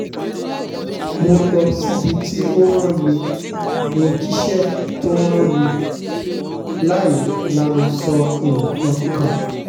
mo lọ síbi tó o rán mi mọ́ jíṣẹ́ tó o rán mi láì lanu sọ nǹkan kan